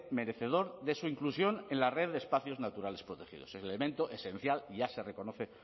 merecedor de su inclusión en la red de espacios naturales protegidos es el elemento esencial y ya se reconoce